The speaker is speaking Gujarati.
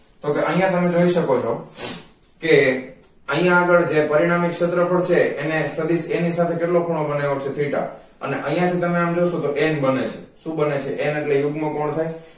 તો કે આયા તમે જોય સકો છો કે આની આગળ જે પરિણામીક ક્ષેત્રફળ છે એને સદિસ a ની સાથે કેટલો ખૂણો બનાવ્યો છે theta અને આયા થી તમે આમ જોસો તો n બને છે શુ બને છે n એટલે યુગ્મ કોણ થાય